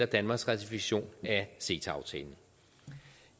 danmarks ratifikation af ceta aftalen